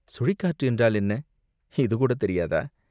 "சுழிக்காற்று என்றால் என்ன?" "இதுகூடத் தெரியாதா?